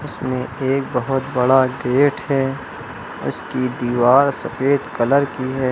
इसमें एक बहुत बड़ा गेट है उसकी दीवार सफेद कलर की है।